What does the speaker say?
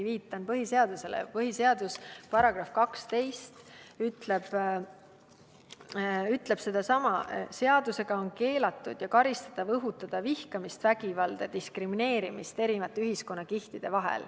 Ka meie põhiseaduse § 12, ma ikkagi viitan põhiseadusele, ütleb sedasama: seadusega on keelatud ja karistatav õhutada vihkamist, vägivalda ja diskrimineerimist eri ühiskonnakihtide vahel.